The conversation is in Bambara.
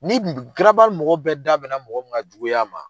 Ni mɔgɔ bɛɛ da bɛn na mɔgɔ min nka juguya ma